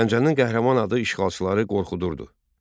Gəncənin qəhrəman adı işğalçıları qorxudurdu.